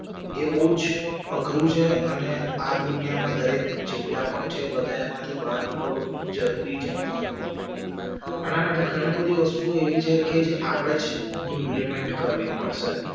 એ બવ જ અઘરું છે અને આ દુનિયામાં દરેક જેટલા પણ છે બધામાંથી બહાર નીકળવું ખૂબ જરૂરી છે આના માટે ઘણી બધી વસ્તુ એવી છે જે આપણે જ ઇમ્પલિમેન્ટ કરવી પડશે